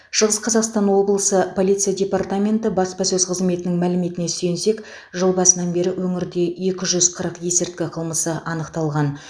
шығыс қазақстан облысы полиция департаменті баспасөз қызметінің мәліметіне сүйенсек жыл басынан бері өңірде екі жүз қырық есірткі қылмысы анықталған